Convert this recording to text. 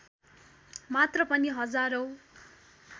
मात्र पनि हजारौँ